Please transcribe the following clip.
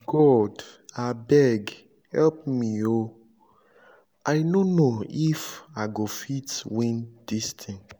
god abeg help me oo i no know if i go fit win dis thing